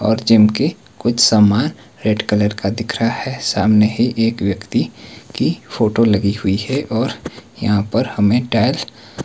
और जिम के कुछ सामान रेड कलर का दिख रहा है सामने ही एक व्यक्ति की फोटो लगी हुई है और यहां पर हमें टाइल्स --